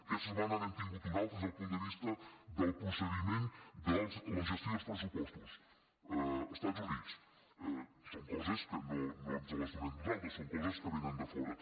aquesta setmana n’hem tingut un altre des del punt de vista del procediment de la gestió dels pressupostos a estats units són coses que no ens les donem nosaltres són coses que venen de fora